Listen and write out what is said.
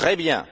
Très bien!